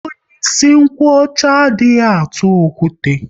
Onye ịsị nkwocha, a dị eje ọgụ okwute